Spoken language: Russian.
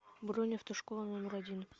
бронь автошкола номер один